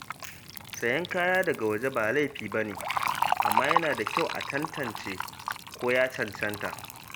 Sayen kaya daga waje ba laifi ba ne, amma yana da kyau a tantance ko ya cancanta.